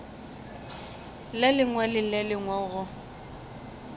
lengwe le le lengwe go